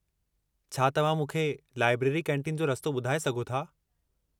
छा तव्हां मूंखे लाइब्रेरी कैंटीन जो रस्तो ॿुधाए सघो था?